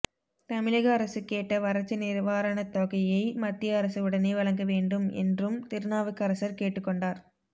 தமிழக அரசு கேட்ட வறட்சி நிவாரணத்தொகையை மத்திய அரசு உடனே வழங்கவேண்டும் என்றும் திருநாவுக்கரசர் கேட்டுக்கொண்டார்